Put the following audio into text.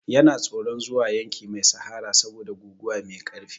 Yana tsoron zuwa yanki mai sahara saboda guguwa mai ƙarfi.